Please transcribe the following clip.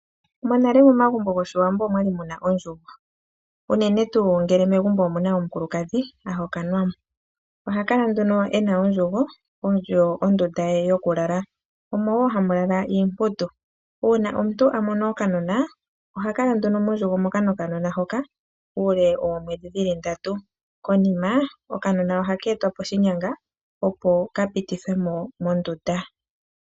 Monale momagumbo ngoshiwambo omu na ondjungo, unene tu ngele megumbo omuna omukulukadhi ahokanwamo oha kala nduno ena ondjungo oyo ondunda ye yokulala omo wo hamulala iiputu, uuna omuntu amono okanona oha kala nduno mondjungo moka nokanona hoka ule womwedhi dhili ndatu konima okanona oha ketwa poshinyanga opo kapitithwemo mondunda.